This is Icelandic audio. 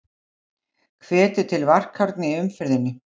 Hvetur til varkárni í umferðinni